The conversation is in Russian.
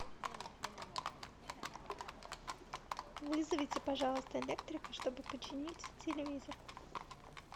вызовите пожалуйста электрика чтобы починить телевизор